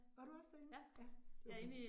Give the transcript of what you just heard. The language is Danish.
Var du også derinde? Ja, det var